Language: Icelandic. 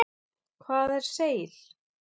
Hvað er seil?